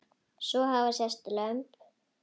Svo hafa sést lömb.